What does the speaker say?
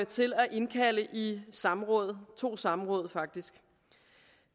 til at indkalde i samråd to samråd faktisk